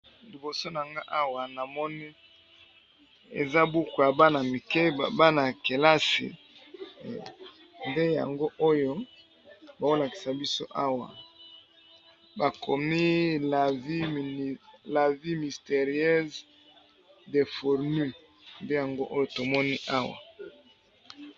Liboso na nga awa namoni eza buku ya bana mike, bana ya kelasi nde yango oyo baolakisa biso awa, bakomi la vie mysterieuse de fourmis, nde yango oyo tomoni awa.